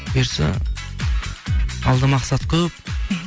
бұйыртса алда мақсат көп мхм